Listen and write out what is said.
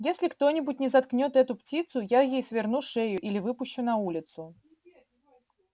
если кто-нибудь не заткнёт эту птицу я ей сверну шею или выпущу на улицу